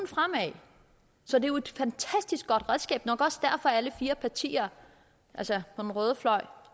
fremad så det er jo et fantastisk godt redskab nok også derfor at alle fire partier altså på den røde fløj